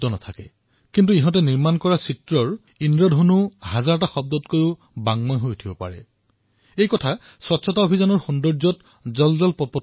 ৰং আৰু ৰেখাৰ কোনো বাক্ শক্তি নাথাকিব পাৰে কিন্তু ইয়াৰ দ্বাৰা নিৰ্মিত হোৱা চিত্ৰই যি ইন্দ্ৰধনুৰ সৃষ্টি কৰে তাৰ বাৰ্তা সহস্ৰ শব্দতকৈও অধিক প্ৰভাৱশালী বিবেচিত হয় আৰু স্বচ্ছতা অভিযানৰ সৌন্দৰ্যতাত মই এই কথা অনুভৱ কৰিছো